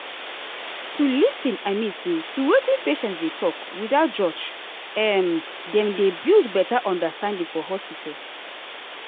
to lis ten i mean say to wetin patient dey talk without judge um dem dey build better understanding for hospital.